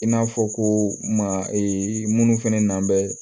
I n'a fɔ ko ma minnu fɛnɛ na bɛ